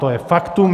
To je faktum.